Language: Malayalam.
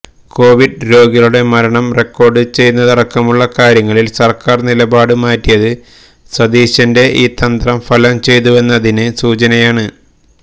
കോവിഡ് രോഗികളുടെ മരണം റെക്കോർഡ് ചെയ്യുന്നതടക്കമുള്ള കാര്യങ്ങളിൽ സർക്കാർ നിലപാട് മാറ്റിയത് സതീശന്റെ ഈ തന്ത്രം ഫലം ചെയ്തുവെന്നതിന് സൂചനയാണ്